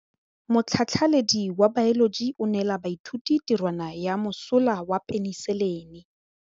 Motlhatlhaledi wa baeloji o neela baithuti tirwana ya mosola wa peniselene.